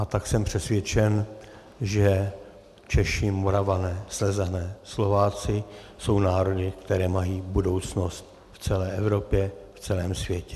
A tak jsem přesvědčen, že Češi, Moravané, Slezané, Slováci jsou národy, které mají budoucnost v celé Evropě, v celém světě.